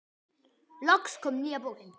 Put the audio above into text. Loks kom nýja bókin.